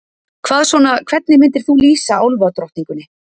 Hvað svona, hvernig myndir þú lýsa álfadrottningunni?